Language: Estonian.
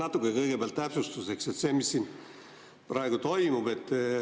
Natuke kõigepealt täpsustuseks, et mis siin praegu toimub.